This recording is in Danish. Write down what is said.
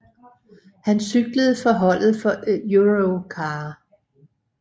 Han cyklede for holdet for Europcar